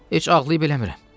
Heç ağlayıb eləmirəm.